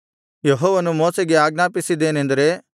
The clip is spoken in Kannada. ಯೆಹೋವನು ಮೋಶೆಗೆ ಆಜ್ಞಾಪಿಸಿದ್ದೇನೆಂದರೆ